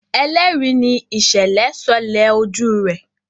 ẹlẹri ní ìsèlè sọlẹ ojú rẹ.